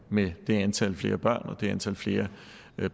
med det antal flere børn og det antal flere